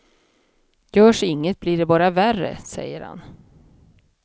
Görs inget blir det bara värre, säger han.